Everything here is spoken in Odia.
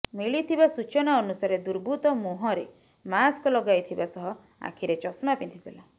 ମିଳିଥିବା ସୂଚନା ଅନୁସାରେ ଦୁର୍ବୃତ୍ତ ମୁହଁରେ ମାସ୍କ ଲଗାଇଥିବା ସହ ଆଖିରେ ଚଷମା ପିନ୍ଧିଥିଲା